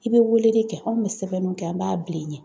I be weeleli kɛ, anw bɛ sɛbɛnnunw kɛ an b'a bil'i ɲɛ